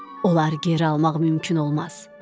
Onları geri almaq mümkün olmaz.